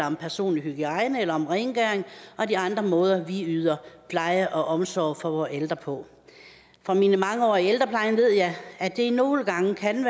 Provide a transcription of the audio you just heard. om personlig hygiejne eller rengøring og de andre måder vi yder pleje og omsorg for vores ældre på fra mine mange år i ældreplejen ved jeg at det nogle gange kan